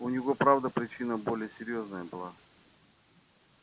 у него правда причина более серьёзная была